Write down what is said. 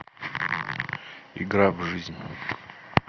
игра в жизнь